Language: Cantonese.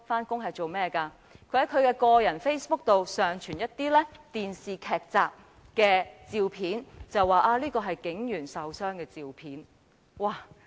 他在其個人 Facebook 專頁上傳了一些電視劇照，指稱是警員受傷的照片。